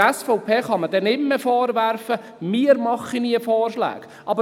Der SVP kann man dann nicht mehr vorwerfen, wir würden nie Vorschläge machen.